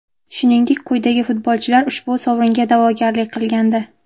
Shuningdek, quyidagi futbolchilar ushbu sovringa da’vogarlik qilgandi: !